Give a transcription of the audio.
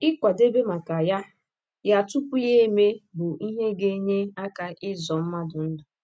Ịkwadebe maka ya ya tupu ya emee bụ ihe ga - enye aka ịzọ mmadụ ndụ.